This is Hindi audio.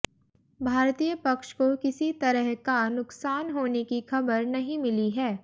भारतीय पक्ष को किसी तरह का नुकसान होने की खबर नहीं मिली है